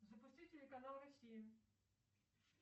запусти телеканал россия